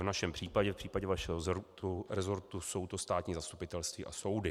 V našem případě, v případě vašeho resortu, jsou to státní zastupitelství a soudy.